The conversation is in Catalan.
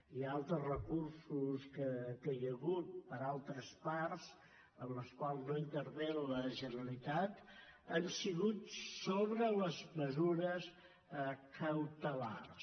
i altres recursos que hi ha hagut per altres parts en els quals no intervé la generalitat han sigut sobre les mesures cautelars